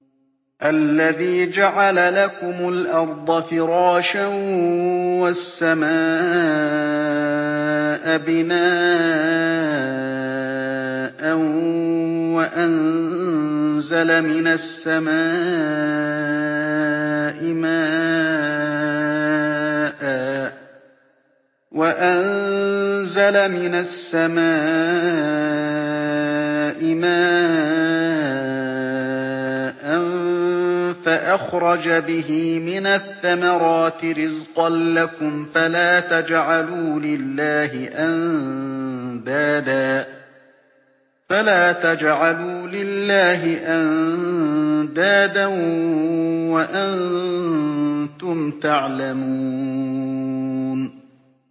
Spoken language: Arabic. الَّذِي جَعَلَ لَكُمُ الْأَرْضَ فِرَاشًا وَالسَّمَاءَ بِنَاءً وَأَنزَلَ مِنَ السَّمَاءِ مَاءً فَأَخْرَجَ بِهِ مِنَ الثَّمَرَاتِ رِزْقًا لَّكُمْ ۖ فَلَا تَجْعَلُوا لِلَّهِ أَندَادًا وَأَنتُمْ تَعْلَمُونَ